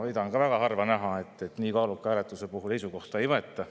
Seda on ka väga harva näha, et nii kaaluka hääletuse puhul seisukohta ei võeta.